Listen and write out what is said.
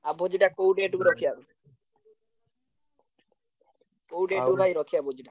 ଆଉ ଭୋଜିଟା କୋଉ date କୁ ରଖିଆ? କୋଉ date କୁ ଭାଇ ରଖିଆ ଭୋଜିଟା?